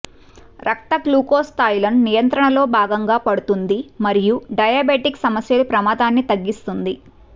రక్త గ్లూకోజ్ స్థాయిలను నియంత్రణలో భాగంగా పడుతుంది మరియు డయాబెటిక్ సమస్యలు ప్రమాదాన్ని తగ్గిస్తుంది